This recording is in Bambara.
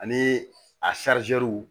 Ani a